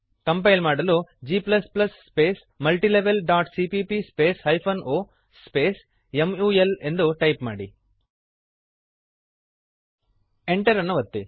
compile ಮಾಡಲು g space multilevelಸಿಪಿಪಿ space hyphen o space mul ಎಂದು ಟೈಪ್ ಮಾಡಿರಿ Enter ಅನ್ನು ಒತ್ತಿರಿ